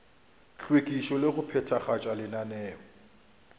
hlwekišo le go phethagatša lenaneo